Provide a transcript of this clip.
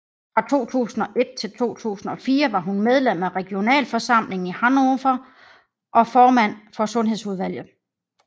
Fra 2001 til 2004 var hun medlem af regionalforsamlingen i Hannover og formand for sundhedsudvalget